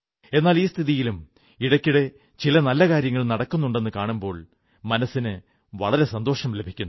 എന്നാൽ ഈ സ്ഥിതിയിലും ഇടയ്ക്കിടെ ചില നല്ല കാര്യങ്ങൾ നടക്കുന്നുണ്ടെന്നു കാണുമ്പോൾ മനസ്സിന് വളരെ സന്തോഷം ലഭിക്കുന്നു